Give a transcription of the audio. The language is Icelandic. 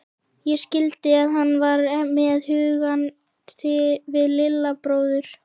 Ég skildi að hann var með hugann við Lilla bróður.